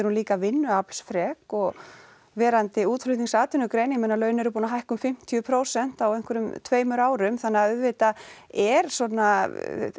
hún líka vinnuaflsfrek og verandi útflutningsatvinnugrein ég meina laun eru búin að hækka um fimmtíu prósent á einhverjum tveimur árum þannig að auðvitað er svona